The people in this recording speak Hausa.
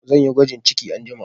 Zan yi gwajin ciki anjima